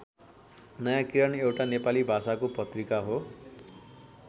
नयाँ किरण एउटा नेपाली भाषाको पत्रिका हो।